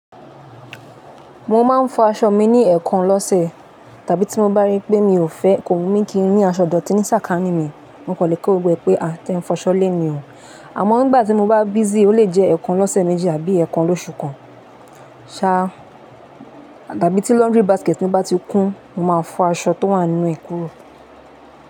Mo máa ń fọ aṣọ mi ní ẹẹkan lọ́sẹ̀ tàbí tí mo bá rí pé mi ò fẹ́ kò wù mí kí n rí aṣọ dọ̀tí ní sàkání mi, mo kọ̀ lé kọ̀ gbogbo e pé à je ń fọ aṣọ lé mi o. Àmọ́ nígbà tí mo bá busy ó lè jẹ́ ẹẹkan lọ́sẹ̀ méjì àbí ẹẹkan lóṣù kan. Ṣáá, tàbí tí laundry basket mi bá ti kún, mo máa fọ aṣọ tó wà nínú e kúrò.